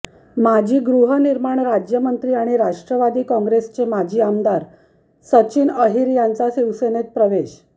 माजी गृहनिर्माण राज्यमंत्री आणि राष्ट्रवादी काँग्रेसचे माजी आमदार सचिन अहिर यांचा शिवसेनेत प्रवेश